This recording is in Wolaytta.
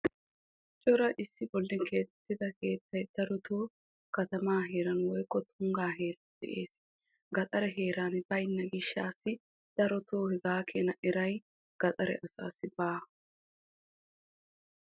Cora issi bolla keexetidda keettay darotto ambba heeran beetees gandda heeran darotto beetokkonna.